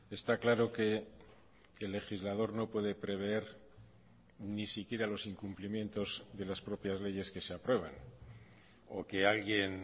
está claro que el legislador no puede prever ni siquiera los incumplimientos de las propias leyes que se aprueban o que alguien